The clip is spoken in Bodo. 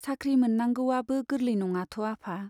साख्रि मोननांगौवाबो गोरलै नङाथ' आफा।